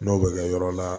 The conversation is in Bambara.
N'o bɛ kɛ yɔrɔ la